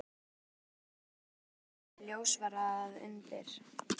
Meðal þess sem þær leiddu í ljós var að undir